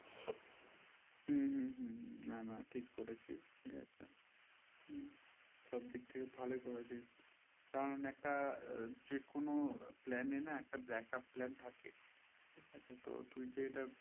হুঁ হুঁ না না ঠিক করেছি সব দিক থেকে ভালো করেছি কারণ একটা যে কোনো plan এর backup plan থেকে ঠিক আছে তো তুই যে এটা